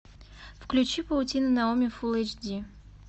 включи паутина наоми фул эйч ди